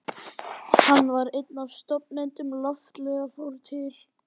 Hann var einn af stofnendum Loftleiða, fór til